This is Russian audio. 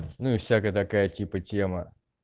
ну и всякая такая типа тема